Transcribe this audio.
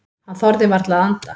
Hann þorði varla að anda.